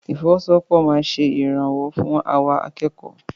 Ìfọwọ́sowọ́pọ̀ máa ṣe ìrànwọ́ fún àwa akẹ́kọ̀ọ́.